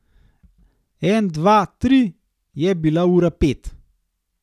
En dva tri je bila ura pet.